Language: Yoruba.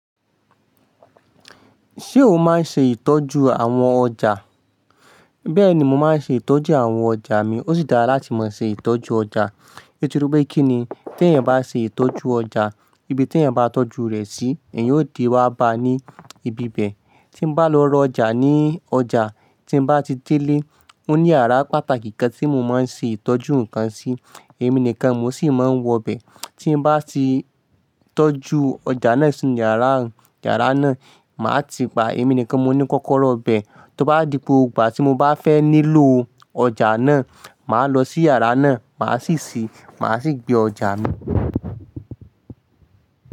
Ṣé o máa ń ṣe ìtọ́jú àwọn ọjà? Bẹ́ẹ̀ni, mo máa ń ṣe ìtọ́jú àwọn ọjà mi. Ó sì dára láti mọ ṣe ìtọ́jú ọjà. Nitoripé kí ni, tí ẹ́ bá ṣe ìtọ́jú ọjà, ibi tí eeyan bá tọ́jú rẹ̀ sí, ẹ̀yin ó de wá ba ní ibi bẹ́ẹ̀. Tí mo bá lọ rọ ọjà ní ọjà, tí mo bá ti délé, ó ní yàrá pàtàkì kan tí mo máa ń ṣe ìtọ́jú nǹkan sí. Èmi nìkan mo sì máa ń wọ bẹ. Tí mo bá ti tọ́jú ọjà náà sí yàrá, yàrá náà, màá ti pa èmi nìkan mo ní kọ́kọ́rọ́ bẹ. Tó bá dipò, ìgbà tí mo bá fẹ́ nílò ọjà náà, màá lọ sí yàrá náà, màá sì ṣii, màá sì gbé ọjà mi.